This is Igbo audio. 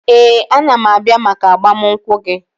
Ee, a ga m abịa maka agbamunkwụ gị